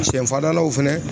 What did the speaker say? Sɛ fan dalaw fɛnɛ